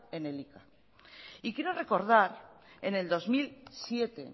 en elika y quiero recordar en el dos mil siete